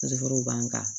Dɔgɔtɔrɔw b'an kan